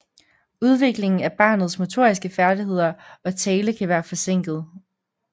Udviklingen af barnets motoriske færdigheder og tale kan være forsinket